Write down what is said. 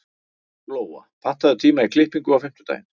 Glóa, pantaðu tíma í klippingu á fimmtudaginn.